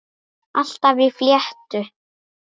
Alltaf í fléttu.